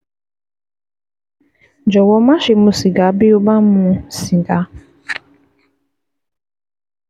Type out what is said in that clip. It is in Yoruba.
Jọ̀wọ́ máṣe mu sìgá bí o bá ń mu sìgá